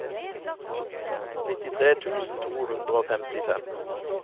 nittitre tusen to hundre og femtifem